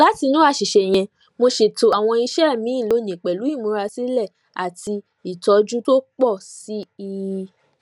látinú àṣìṣe yẹn mo ṣètò àwọn iṣẹ mi lónìí pẹlú ìmúrasílẹ àti ìtọjú tó pọ sí i